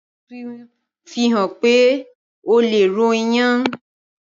aṣa tuntun fihàn pé ọ lẹ ro iyán